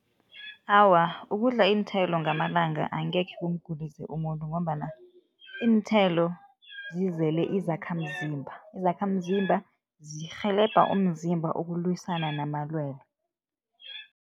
Awa, ukudla iinthelo ngamalanga angekhe kumgulise umuntu ngombana iinthelo zizele izakhamzimba. Izakhamzimba zirhelebha umzimba ukulwisana namalwelwe.